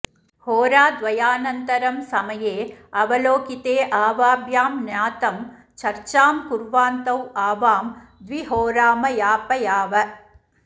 होराद्वयानन्तरं समये अवलोकिते आवाभ्यां ज्ञातं चर्चां कुर्वान्तौ आवां द्विहोरामयापयाव